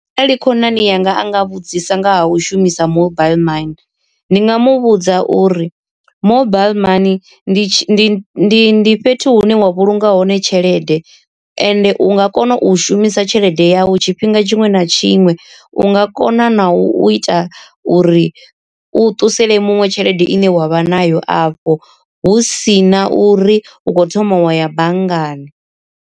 Arali khonani yanga anga vhudzisa nga ha u shumisa mobile mani ndi nga muvhudza uri, mobile mani ndi ndi ndi fhethu hune wa vhulunga hone tshelede, ende u nga kona u shumisa tshelede yau tshifhinga tshiṅwe na tshiṅwe, u nga kona na u ita uri u ṱusele muṅwe tshelede ine wa vha nayo afho hu si na uri u khou thoma wa ya banngani.